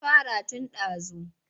Sun fara tun ɗazu.